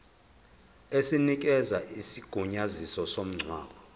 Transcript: esinikeza isigunyaziso somngcwabo